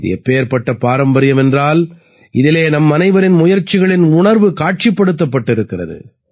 இது எப்படிப்பட்ட பாரம்பரியம் என்றால் இதிலே நம்மனைவரின் முயற்சிகளின் உணர்வு காட்சிப்படுத்தப்பட்டிருக்கிறது